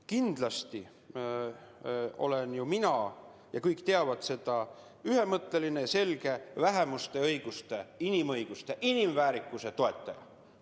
Kindlasti olen mina – ja kõik teavad seda – ühemõtteline, selge vähemuste õiguste, inimõiguste, inimväärikuse toetaja.